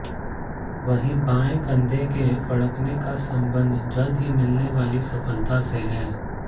वहीं बाएं कंधे के फड़कने का संबंध जल्द ही मिलने वाली सफलता से है